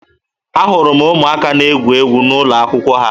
Ahụrụ m ụmụaka na-egwu egwu n'ụlọakwụkwọ ha